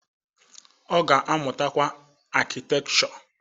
Ọ ga-amụtakwa Akịtekchọ